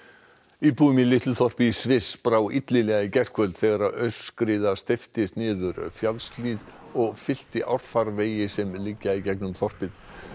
íbúum í litlu þorpi í Sviss brá illilega í gærkvöld þegar aurskriða steyptist niður fjallshlíðina og fyllti árfarvegi sem liggja í gegnum þorpið